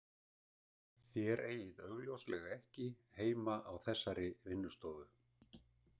Þér eigið augljóslega ekki heima á þessari vinnustofu